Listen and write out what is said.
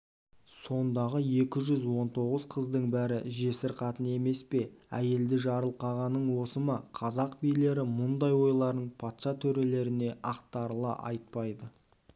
сондағы екі жүз он тоғыз қыздың бәрі жесір қатын емес пе әйелді жарылқағаның осы ма қазақ билері мұндай ойларын патша төрелеріне ақтарыла айтпайды